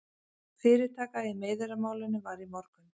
Fyrirtaka í meiðyrðamálinu var í morgun